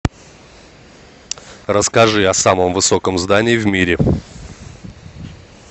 расскажи о самом высоком здании в мире